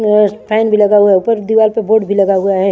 Yes फाईन भी लगा हुआ है ऊपर दीवार पर बोर्ड भी लगा हुआ है।